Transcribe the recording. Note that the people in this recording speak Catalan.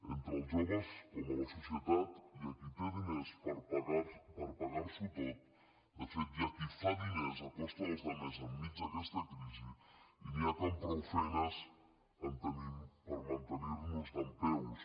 entre els joves com a la societat hi ha qui té diners per pagar s’ho tot de fet hi ha qui fa diners a costa dels altres enmig d’aquesta crisi i n’hi ha que amb prou feines en tenim per mantenir nos dempeus